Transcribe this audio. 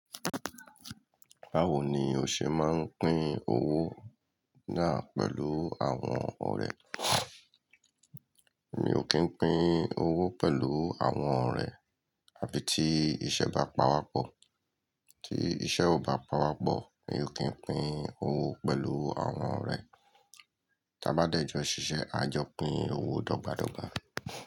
Báwo ni o ṣe máa ń pín owó náà pẹ̀lú àwọn ọ̀rẹ́? Mi ò kí ń pín owó pẹ̀lú àwọn ọ̀rẹ́ àfí tí iṣẹ́ bá pawọ́pọ̀. Tí iṣẹ́ ò bá pawọ́pọ̀, mi ò kí ń pín owó pẹ̀lú àwọn ọ̀rẹ́. Tí a bá dẹ̀ jọ̀ ṣiṣẹ́, a jọ pín owó dọ́gba dọ́gba.